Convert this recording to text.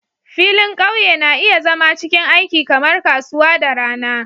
Filin ƙauye na iya zama cikin aiki kamar kasuwa da rana